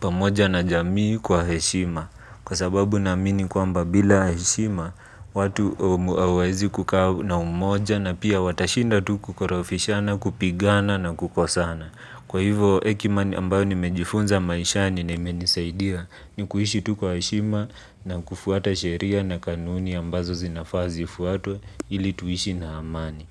pamoja na jamii kwa heshima. Kwa sababu na amini kwa mba bila heshima, watu hawawezi kukaa na umoja na pia watashinda tuku koro fishana kupigana na kukosana. Kwa hivo hekima ambayo ni mejifunza maishani na imenisaidia ni kuishi tukwa heshima na kufuata sheria na kanuni ambazo zinafaazi fuatwe ili tuishi na amani.